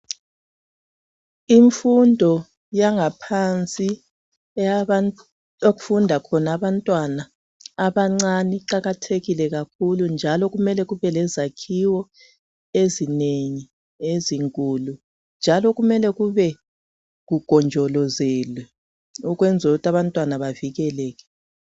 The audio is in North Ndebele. Imfundo yangaphansi okufunda khona abantwana abancane iqakathekile kakhulu njalo kumele kube lezakhiwo ezinengi ezinkulu njalo kumele kube kugonjolozelwe ukwenzela ukuthi abantwana bavikeleke.